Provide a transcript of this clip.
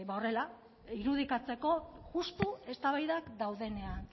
horrela irudikatzeko justu eztabaidak daudenean